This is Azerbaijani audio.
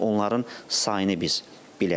Yəni onların sayını biz biləcəyik.